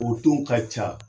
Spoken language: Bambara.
O don ka ca!